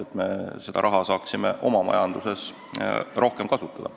Siis me saaksime seda raha rohkem oma majanduses kasutada.